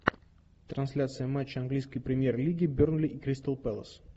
трансляция матча английской премьер лиги бернли и кристал пэлас